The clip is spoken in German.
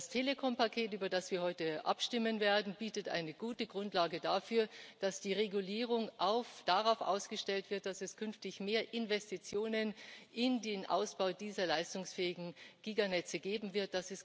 Das Telekompaket, über das wir heute abstimmen werden, bietet eine gute Grundlage dafür, dass die Regulierung darauf ausgestellt wird, dass es künftig mehr Investitionen in den Ausbau dieser leistungsfähigen Giganetze geben wird.